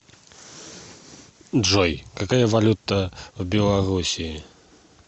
джой какая валюта в белоруссии